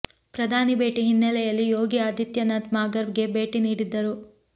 ಪ್ರಧಾನಿ ಭೇಟಿ ಹಿನ್ನಲೆಯಲಿ ಯೋಗಿ ಆದಿತ್ಯನಾಥ್ ಮಾಘರ್ ಗೆ ಭೇಟಿ ನೀಡಿದ್ದರು